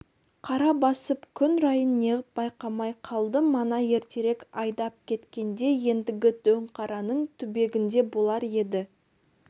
қара басып күн райын неғып байқамай қалды мана ертерек айдап кеткенде ендігі дөңқараның түбегінде болар еді